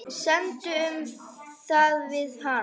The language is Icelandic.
Semdu um það við hann.